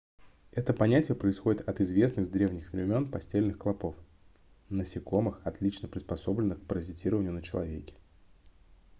это понятие происходит от известных с древних времен постельных клопов насекомых отлично приспособленных к паразитированию на человеке